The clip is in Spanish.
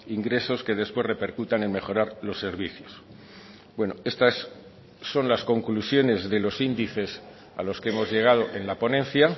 ingresos que después repercutan en mejorar los servicios bueno estas son las conclusiones de los índices a los que hemos llegado en la ponencia